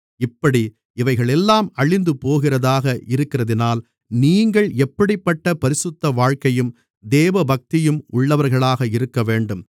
இப்படி இவைகளெல்லாம் அழிந்து போகிறதாக இருக்கிறதினால் நீங்கள் எப்படிப்பட்ட பரிசுத்த வாழ்க்கையும் தேவபக்தியும் உள்ளவர்களாக இருக்கவேண்டும்